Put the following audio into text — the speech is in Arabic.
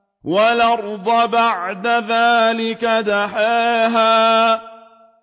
وَالْأَرْضَ بَعْدَ ذَٰلِكَ دَحَاهَا